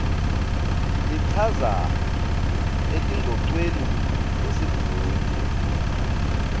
lichaza etingcocweni tesigungu